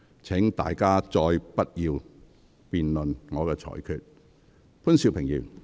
請各位不要再辯論我的裁決。